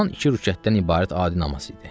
Haman iki rükətdən ibarət adi namaz idi.